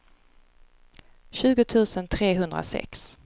tjugo tusen trehundrasex